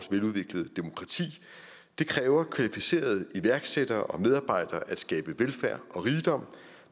veludviklede demokrati det kræver kvalificerede iværksættere og medarbejdere at skabe velfærd og rigdom og